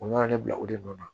U nana ne bila o de nɔ la